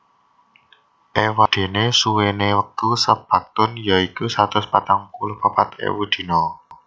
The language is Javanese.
Ewadena suwene wektu saBaktun ya iku satus patang puluh papat ewu dina